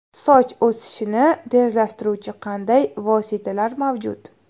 Soch o‘sishini tezlashtiruvchi qanday vositalar mavjud?